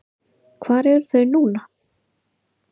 Hvar eru þau núna?